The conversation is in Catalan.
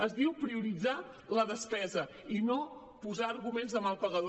es diu prioritzar la despesa i no posar arguments de mal pagador